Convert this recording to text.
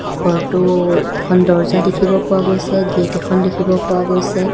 ঘৰটোৰ এখন দৰ্জা দেখিব পোৱা গৈছে গেট এখন দেখিব পোৱা গৈছে